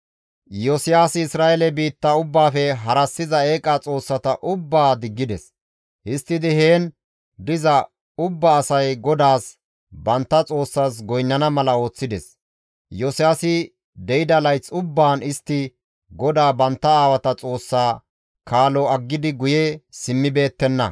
Iyosiyaasi Isra7eele biitta ubbaafe harassiza eeqa xoossata ubbaa diggides; histtidi heen diza ubba asay GODAAS bantta Xoossaas goynnana mala ooththides. Iyosiyaasi de7ida layth ubbaan istti GODAA bantta aawata Xoossaa kaalo aggidi guye simmibeettenna.